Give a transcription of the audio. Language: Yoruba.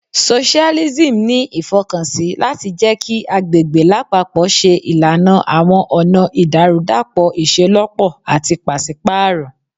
Socailism ni ifọkansi lati jẹ ki agbegbe lapapọ ṣe ilana awọn ọna idarudapọ iṣelọpọ ati paṣipaarọ